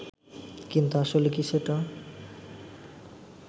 কিন্তু আসলে কি সেটা